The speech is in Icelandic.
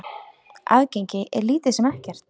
Aðgengi er lítið sem ekkert.